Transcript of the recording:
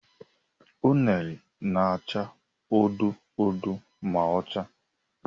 Unere na-acha odo odo ma ọ chaa.